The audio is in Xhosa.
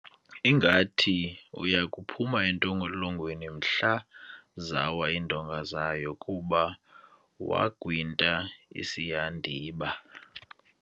Ngathi uya kuphuma entolongweni mhla zawa iindonga zayo kuba wagwinta isihandiba.